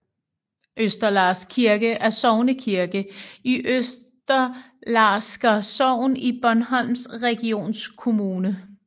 Østerlars Kirke er sognekirke i Østerlarsker Sogn i Bornholms Regionskommune